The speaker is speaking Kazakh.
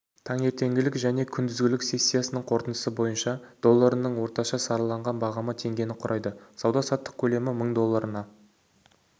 таңертеңгілік және күндізгі сессиясының қорытындысы бойынша долларының орташа сараланған бағамы теңгені құрайды сауда-саттық көлемі мың долларына